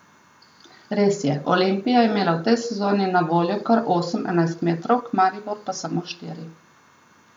Res je, Olimpija je imela v tej sezoni na voljo kar osem enajstmetrovk, Maribor pa samo štiri.